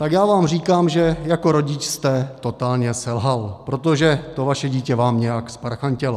Tak já vám říkám, že jako rodič jste totálně selhal, protože to vaše dítě vám nějak zparchantělo.